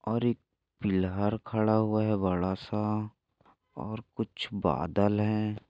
और एक पिल्लर खड़ा हुआ है बड़ासा। और कुच बादल है।